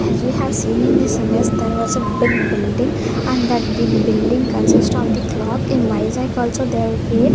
as we have seen in this image there was a big building and that big building consists of the clock in vizag also there --